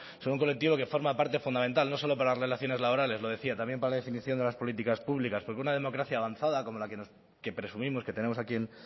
son un colectivo que forma parte fundamental no solo para relaciones laborales lo decía también para definición de las políticas públicas porque una democracia avanzada como la que presumimos que tenemos aquí